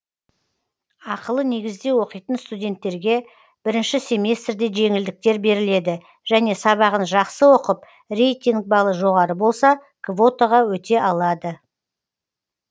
ақылы негізде оқитын студенттерге бірінші семестрде жеңілдіктер беріледі және сабағын жақсы оқып рейтинг балы жоғары болса квотаға өте алады